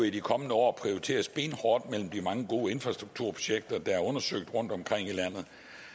i de kommende år prioriteres benhårdt mellem de mange gode infrastrukturprojekter der er undersøgt rundtomkring i landet